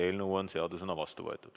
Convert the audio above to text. Eelnõu on seadusena vastu võetud.